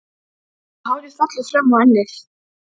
Og hárið fellur fram á ennið.